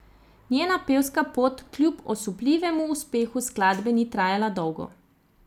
Njena pevska pot kljub osupljivemu uspehu skladbe ni trajala dolgo.